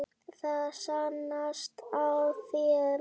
Það sannast á þér.